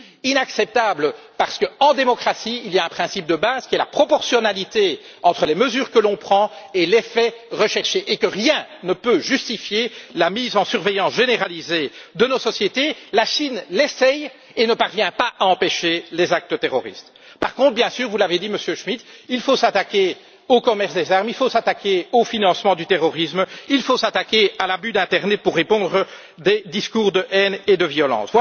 Inacceptable, parce qu'en démocratie il existe un principe de base qui est la proportionnalité entre les mesures adoptées et l'effet recherché, et que rien ne peut justifier la mise sous surveillance généralisée de nos sociétés. La Chine essaie et ne parvient pas pour autant à empêcher les actes terroristes. Par contre, bien sûr vous l'avez dit, Monsieur Schmitt il faut s'attaquer au commerce des armes, il faut s'attaquer au financement du terrorisme, il faut s'attaquer à l'abus d'internet utilisé pour répandre des discours de haine et de violence.